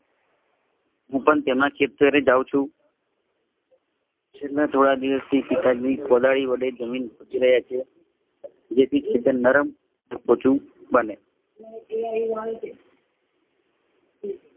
હું પણ તેમના ખેતરે જાવ છું. છેલ્લે થોડા દિવશથી પિતાજી કોદાળી વડે જમીન ખોદી રહ્યા છીએ. જેથી જમીન નરમ અને પોચું બને